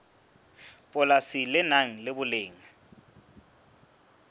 polasi le nang le boleng